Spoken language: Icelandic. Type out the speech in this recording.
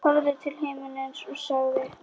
Horfði til himins og sagði: